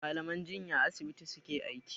Mallaman jinya a asibiti su ke aiki.